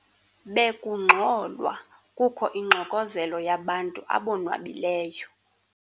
Bekungxolwa kukho ingxokozelo yabantu abonwabileyo.